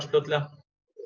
fljótlega